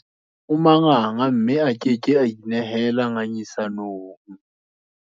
O manganga mme a ke ke a inehela ngangisanong.